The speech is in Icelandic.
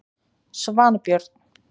Svanbjörn